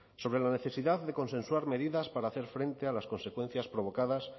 sobre la necesidad de consensuar medidas para hacer frente a las consecuencias provocadas